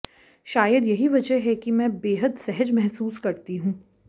शायद यही वजह है कि मैं बेहद सहज महसूस करती हूं